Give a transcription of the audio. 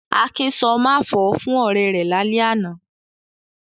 Akin sọ "máfọ̀ọ́" fún ọ̀rẹ́ rẹ̀ lálẹ́ àná.